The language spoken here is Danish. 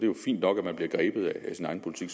jo fint nok at man bliver grebet af sin egen politik